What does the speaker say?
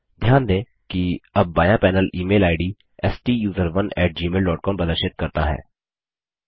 ध्यान दें कि अब बायाँ पैनल ईमेल आईडी स्टूसरोन gmailकॉम प्रदर्शित करता है